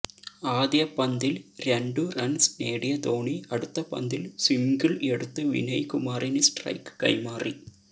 ആദ്യ പന്തില് രണ്ടു റണ്സ് നേടിയ ധോണി അടുത്ത പന്തില് സിംഗിള് എടുത്ത് വിനയ് കുമാറിന് സ്ട്രൈക്ക് കൈമാറി